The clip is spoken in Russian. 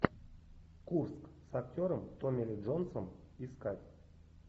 курск с актером томми ли джонсом искать